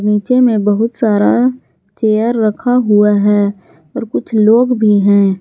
नीचे में बहुत सारा चेयर रखा हुआ है और कुछ लोग भी हैं।